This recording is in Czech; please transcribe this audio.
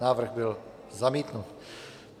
Návrh byl zamítnut.